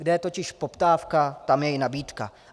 Kde je totiž poptávka, tam je i nabídka.